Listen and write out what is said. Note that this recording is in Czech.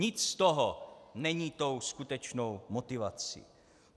Nic z toho není tou skutečnou motivací.